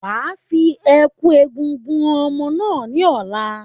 Wa fi ẹ̀kú egúngún han ọmọ náà ní ọ̀la.